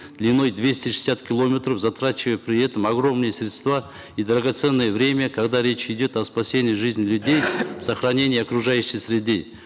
длиной двести шестьдесят километров затрачивая при этом огромные средства и драгоценное время когда речь идет о спасении жизни людей сохранения окружающей среды